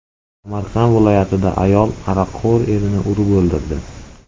Samarqand viloyatida ayol aroqxo‘r erini urib o‘ldirdi.